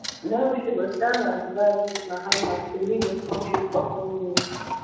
now she go serve as vice to mahama to lead di kontri for four years